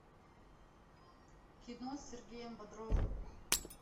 кино с сергеем бодровым